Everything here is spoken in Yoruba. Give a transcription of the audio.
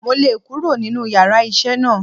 Mo le kúrò nínú yàrá isé náà